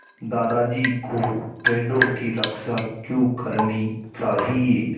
दादाजी को पेड़ों की रक्षा क्यों करनी चाहिए